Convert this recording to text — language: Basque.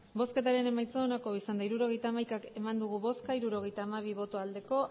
hirurogeita hamaika eman dugu bozka hirurogeita hamabi bai